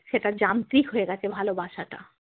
সেটা যান্ত্রিক হয়ে গেছে ভালোবাসাটা।